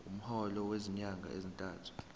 umholo wezinyanga ezintathu